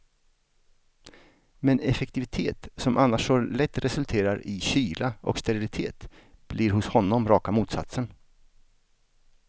Men effektivitet som annars så lätt resulterar i kyla och sterilitet blir hos honom raka motsatsen.